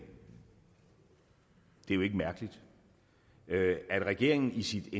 er jo ikke mærkeligt at regeringen i sit